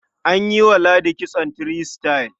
An yi wa ladi kitson three star.